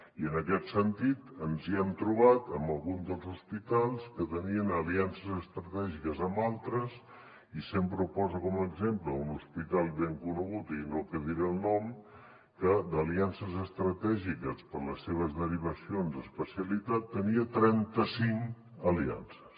i en aquest sentit ens hem trobat amb algun dels hospitals que tenien aliances estratègiques amb altres i sempre ho poso com a exemple un hospital ben conegut i no que diré el nom que d’aliances estratègiques per a les seves derivacions a especialitat tenia trenta cinc aliances